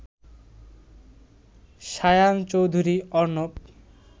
Shayan Chowdhury Arnab